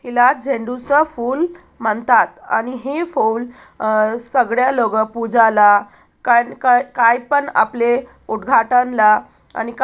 याला झेंडू चा फुल म्हणतात आणि हे फुल अ सगळ्या लोक पुजाला काय-कायपण आपले उत्घाटन ला आणि का--